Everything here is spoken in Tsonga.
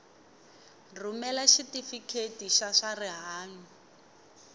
rhumela xitifiketi xa swa rihanyu